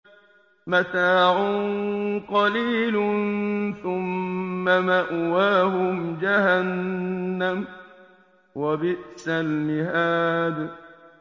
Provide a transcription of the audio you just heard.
مَتَاعٌ قَلِيلٌ ثُمَّ مَأْوَاهُمْ جَهَنَّمُ ۚ وَبِئْسَ الْمِهَادُ